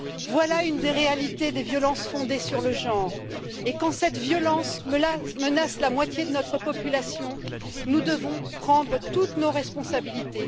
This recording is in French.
Voilà une des réalités des violences fondées sur le genre et, quand cette violence menace la moitié de notre population, nous devons prendre toutes nos responsabilités.